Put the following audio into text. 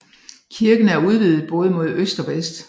Kirken er udvidet både mod øst og vest